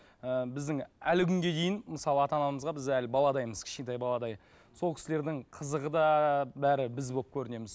ыыы біздің әлі күнге дейін мысалы ата анамызға біз әлі баладаймыз кішкентай баладай сол кісілердің қызығы да бәрі біз болып көрінеміз